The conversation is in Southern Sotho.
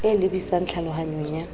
e lebi sang tlhalohanyong ya